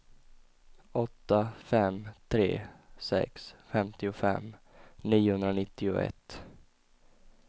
åtta fem tre sex femtiofem niohundranittioett